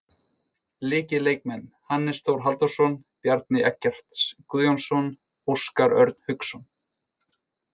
Lykilleikmenn: Hannes Þór Halldórsson, Bjarni Eggerts Guðjónsson, Óskar Örn Hauksson.